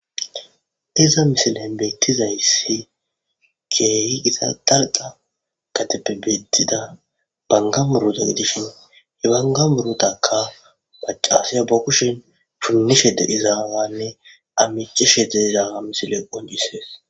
Iza misilen beyttizayssi keehi gita darqa katebebettida bangamuruta gidishin hebangamurotaka pacasiya bo kushin shunnishe dedizaawanne amicishe deizaawa misile onjissees